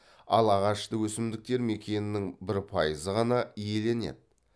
ал ағашты өсімдіктер мекеннің бір пайызы ғана иеленеді